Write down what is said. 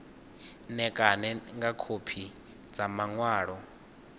ṋekane nga khophi dza maṅwalo